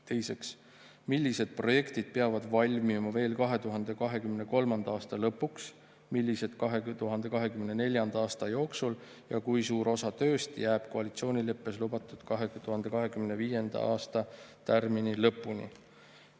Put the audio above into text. Teiseks, millised projektid peavad valmima veel 2023. aasta lõpuks, millised 2024. aasta jooksul ja kui suur osa tööst jääb koalitsioonileppes lubatud 2025. aasta tärmini lõpuni?